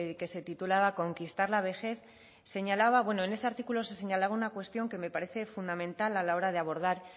que se titulaba conquistar la vejez señalaba bueno en este artículo se señalaba una cuestión que me parece fundamental a la hora de abordar